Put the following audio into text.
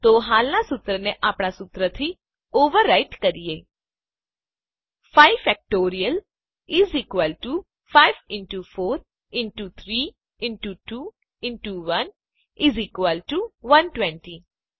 તો હાલનાં સૂત્રને આપણા સુત્રથી ઓવરરાઈટ બદલી કરવું કરીએ 5 factorial 5 into 4 into 3 into 2 into 1 120